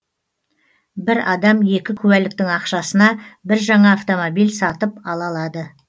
бір адам екі куәліктің ақшасына бір жаңа автомобиль сатып ала алады